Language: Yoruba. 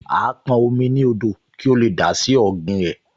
Á pọn omi ní odò kí ó lè dà á sí ọ̀gbìn rẹ̀